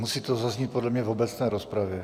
Musí to zaznít podle mě v obecné rozpravě.